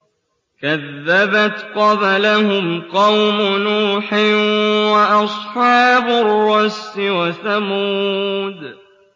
كَذَّبَتْ قَبْلَهُمْ قَوْمُ نُوحٍ وَأَصْحَابُ الرَّسِّ وَثَمُودُ